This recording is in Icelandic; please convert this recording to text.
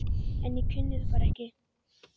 En ég kunni það bara ekki.